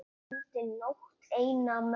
Dreymdi nótt eina mömmu.